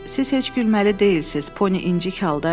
Siz heç gülməli deyilsiz, Poni incik halda dedi.